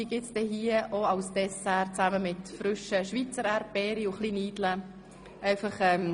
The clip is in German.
Diese gibt es heute als Dessert mit frischen Schweizer Erdbeeren und etwas Rahm.